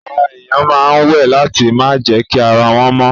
Àwọn èèyàn ma wẹ̀ láti ma jẹ́kí ara wọ́n mọ